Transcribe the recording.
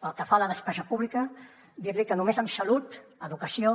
pel que fa a la despesa pública dir li que només amb salut educació